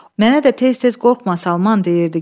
Mənə də tez-tez qorxma Salman deyirdi.